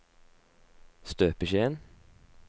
støpeskjeen